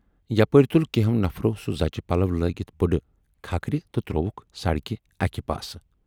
یپٲرۍ تُل کینہو نفرو سُہ زچہِ پلو لٲگِتھ بُڈٕ کھکھرِتہٕ ترووُکھ سڑکہِ اکہِ پاسہٕ۔